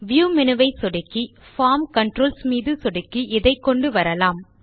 view menu ஐ சொடுக்கி form controls மீது சொடுக்கி இதை கொண்டுவரலாம்